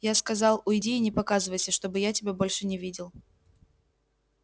я сказал уйди и не показывайся чтобы я тебя больше не видел